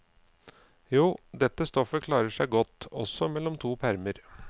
Jo, dette stoffet klarer seg godt også mellom to permer.